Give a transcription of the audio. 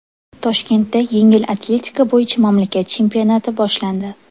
Toshkentda yengil atletika bo‘yicha mamlakat chempionati boshlandi.